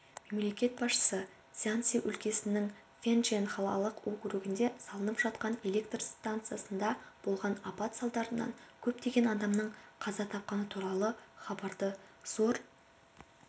мемлекет басшысы цзянси өлкесінің фэнчэн қалалық округінде салынып жатқан электр стансасында болған апат салдарынан көптеген адамның қаза тапқаны туралы хабарды зор